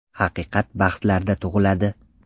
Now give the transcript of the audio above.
Haqiqat bahslarda tug‘iladi.